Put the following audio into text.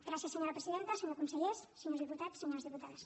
gràcies senyora presidenta senyor conseller senyors diputats senyores diputades